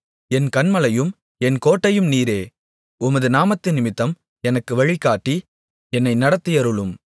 என் கன்மலையும் என் கோட்டையும் நீரே உமது நாமத்தினிமித்தம் எனக்கு வழிகாட்டி என்னை நடத்தியருளும்